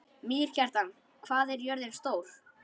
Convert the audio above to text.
Mýrkjartan, hvað er jörðin stór?